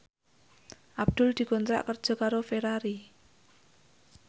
Abdul dikontrak kerja karo Ferrari